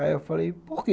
Aí eu falei, por quê?